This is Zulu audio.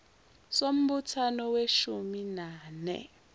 sombuthano weshumi nane